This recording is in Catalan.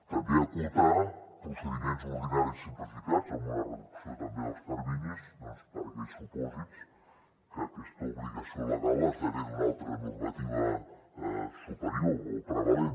també acotar procediments ordinaris simplificats amb una reducció també dels terminis doncs per a aquells supòsits que aquesta obligació legal esdevé d’una altra normativa superior o prevalent